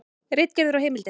Ritgerðir og heimildir.